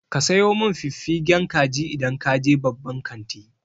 Ka sayo min fiffigen kaji idan ka je babban kanti.